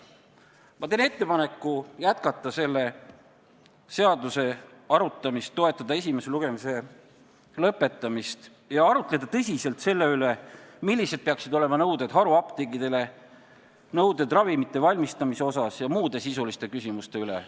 Ma teen ettepaneku jätkata selle seaduseelnõu arutamist, toetada esimese lugemise lõpetamist ja arutleda tõsiselt selle üle, millised peaksid olema haruapteekidele esitatavad nõuded – nõuded ravimite valmistamise ja muude sisuliste küsimustega seoses.